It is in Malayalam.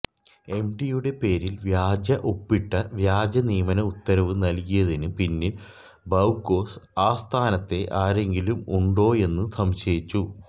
എംഡിയുടെ പേരിൽ വ്യാജ ഒപ്പിട്ടു വ്യാജ നിയമന ഉത്തരവു നൽകിയതിനു പിന്നിൽ ബവ്കോ ആസ്ഥാനത്തെ ആരെങ്കിലും ഉണ്ടോയെന്നു സംശയിച്ചു